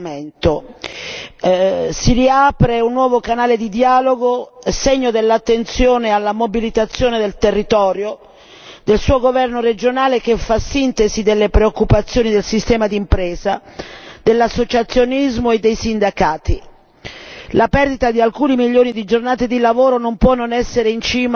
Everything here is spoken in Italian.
Si riapre un nuovo canale di dialogo, segno dell'attenzione alla mobilitazione del territorio del governo regionale che fa sintesi delle preoccupazioni del sistema d'impresa, dell'associazionismo e dei sindacati. La perdita di alcuni milioni di giornate di lavoro non può non essere in cima alle nostre preoccupazioni.